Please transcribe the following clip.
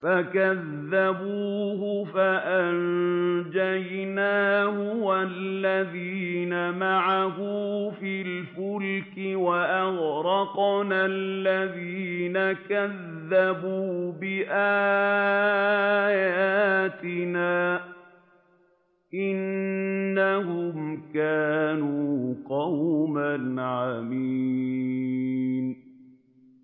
فَكَذَّبُوهُ فَأَنجَيْنَاهُ وَالَّذِينَ مَعَهُ فِي الْفُلْكِ وَأَغْرَقْنَا الَّذِينَ كَذَّبُوا بِآيَاتِنَا ۚ إِنَّهُمْ كَانُوا قَوْمًا عَمِينَ